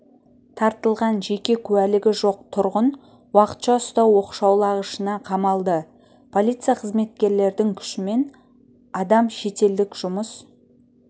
тартылған жеке куәлігі жоқ тұрғын уақытша ұстау оқшаулағышына қамалды полиция қызметкерлердің күшімен адам шетелдік жұмыс